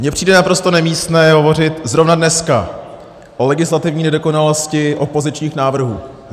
Mně přijde naprosto nemístné hovořit zrovna dneska o legislativní nedokonalosti opozičních návrhů.